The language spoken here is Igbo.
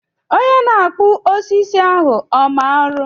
Onye na-akpụ osisi ahụ ọ ma ọrụ?